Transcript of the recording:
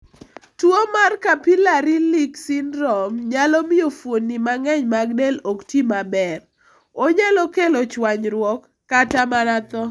Tuwo mar capillary leak syndrome nyalo miyo fuonni mang'eny mag del ok ti maber, onyalo kelo chwanyruok, kata mana tho.